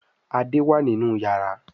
Ade wá nínú iyàrá.